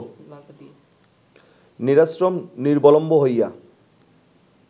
নিরাশ্রম নিরবলম্ব হইয়া